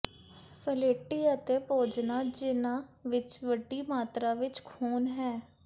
ਸਲੇਟੀ ਅਤੇ ਭੋਜਨਾਂ ਜਿਹਨਾਂ ਵਿੱਚ ਵੱਡੀ ਮਾਤਰਾ ਵਿੱਚ ਖੂਨ ਹੈ